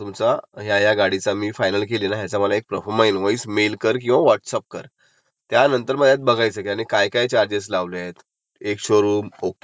असं सगळ बगितल्या नंतर त्याच मेकची समजा म्हणजे मी तुला उदाहऱण सांगतो, जर तू टाटा नेक्सॉन फीक्स केली, की बाबा नेक्सॉन मला घ्यायचीय,